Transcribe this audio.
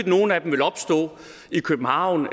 nogle af dem vil opstå i københavn